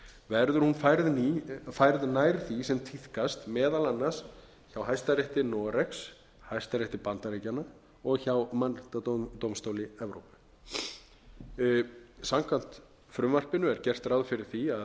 verður hún færð nær því sem tíðkast meðal annars hjá hæstarétti noregs hæstarétti bandaríkjanna og hjá mannréttindadómstóli evrópu samkvæmt frumvarpinu er gert ráð fyrir að